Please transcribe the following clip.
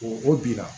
O o bila